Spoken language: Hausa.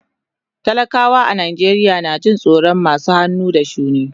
Talakawa a Najeriya na jin tsoron masu hannu da shuni.